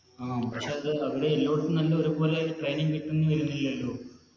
ആ പക്ഷെ അത് അവിടെ എല്ലോടത്തും നല്ല ഒരുപോലെ Training കിട്ടേന്ന് വെരുന്നില്ലല്ലോ